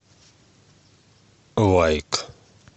лайк